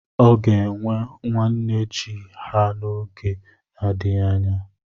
Ọ ga-enwe nwa nne ji ha n'oge na-adịghị anya.